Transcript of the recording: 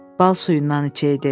Bal suyundan içəydi.